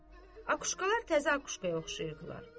Akuşkalar təzə akuşkaya oxşayırdılar.